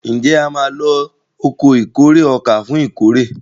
Njé a má ló Ọkọ̀ ìkórè ọkà fún ìkórè?